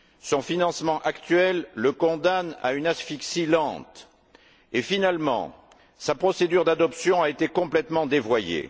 Son financement actuel le condamne à une asphyxie lente et, finalement, sa procédure d'adoption a été complètement dévoyée.